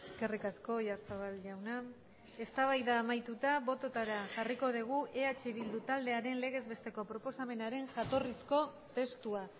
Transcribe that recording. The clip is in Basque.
eskerrik asko oyarzabal jauna eztabaida amaituta bototara jarriko dugu eh bildu taldearen legezbesteko proposamenaren jatorrizko testua